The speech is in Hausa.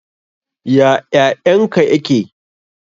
Ya ƴaƴan ka ƴaƙe?